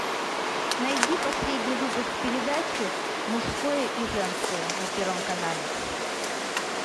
найди последний выпуск передачи мужское и женское на первом канале